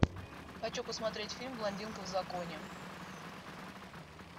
хочу посмотреть фильм блондинка в законе